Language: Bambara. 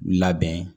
Labɛn